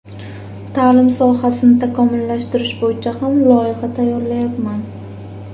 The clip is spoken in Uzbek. Ta’lim sohasini takomillashtirish bo‘yicha ham loyiha tayyorlayapman.